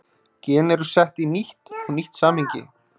Gen eru sett í nýtt og nýtt samhengi.